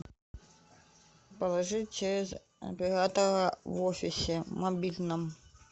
положи через оператора в офисе мобильном